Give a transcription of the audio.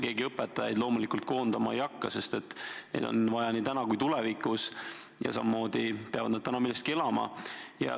Keegi õpetajaid loomulikult koondama ei hakka, sest neid on vaja nii täna kui ka tulevikus ja samamoodi peavad nad ka täna millestki elama.